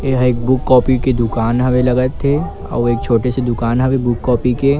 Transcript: यह एक book copy के दुकान हवे लगा थे अउ एक छोटे से दुकान हवे बुक कॉपी के--